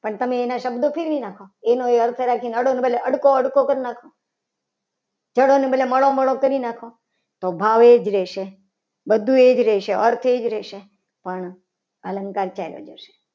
પણ તમે એના શબ્દો ફેરવી નાખો. એનો અર્થ એનો એ અર્થ રાખીને એના બદલે અડકો અડકો કરી નાખો. જડો અને બદલે મળો મળો. કરી નાખો. તો ભાવ એ જ રહેશે બધું એ જ રહેશે અર્થ એ જ રહેશે. પણ અલંકાર ચાલુ જશે.